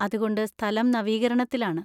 അതുകൊണ്ട് സ്ഥലം നവീകരണത്തിലാണ്.